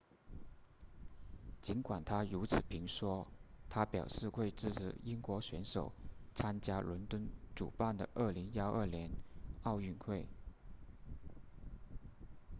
尽管他如此评说他表示会支持英国选手参加伦敦主办的2012年奥运会